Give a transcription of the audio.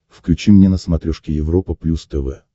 включи мне на смотрешке европа плюс тв